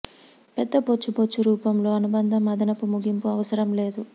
పెద్ద బొచ్చు బొచ్చు రూపంలో అనుబంధం అదనపు ముగింపు అవసరం లేదు